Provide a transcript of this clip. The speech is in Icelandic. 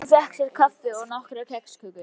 Hann fékk sér kaffi og nokkrar kexkökur.